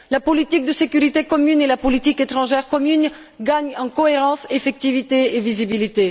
La politique de sécurité commune et la politique étrangère commune gagnent en cohérence, effectivité et visibilité.